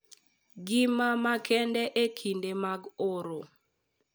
Gima makende e kinde mag oro